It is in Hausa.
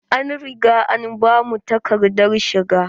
An riga an bamu takadar shiga.